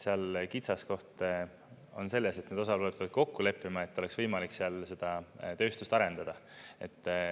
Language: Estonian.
Seal kitsaskoht on selles, et need osapooled peavad kokku leppima, et oleks võimalik seal seda tööstust arendada.